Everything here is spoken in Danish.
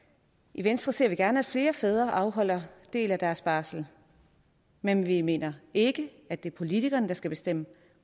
i venstre ser vi gerne at flere fædre afholder en del af deres barsel men vi mener ikke at det er politikerne der skal bestemme